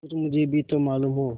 कुछ मुझे भी तो मालूम हो